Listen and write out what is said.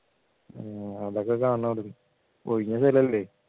ഏർ അതൊക്കെ കാണണം അവിടെന്നു ഒഴിഞ്ഞ സ്ഥലല്ലേ